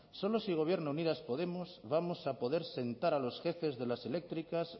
solo si gobierna unidas podemos vamos a poder sentar a los jefes de las eléctricas